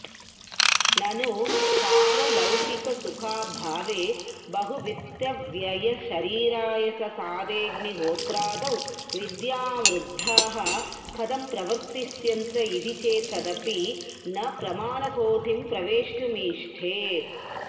ननु पारलौकिकसुखाभावे बहुवित्तव्ययशरीरायाससाध्येऽग्निहोत्रादौ विद्यावृद्धाः कथं प्रवर्तिष्यन्त इति चेत्तदपि न प्रमाणकोटिं प्रवेष्टुमीष्टे